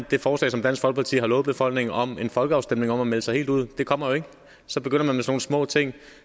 det forslag som dansk folkeparti har lovet befolkningen om en folkeafstemning om at melde sig helt ud det kommer jo ikke så begynder man med nogle små ting